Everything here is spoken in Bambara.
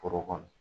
Foro kɔnɔ